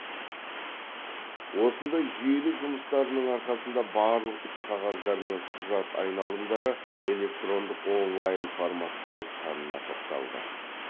осындай жүйелі жұмыстардың арқасында барлық іс қағаздар мен құжат айналымдары электрондық онлайн форматқа ауысқанына тоқталды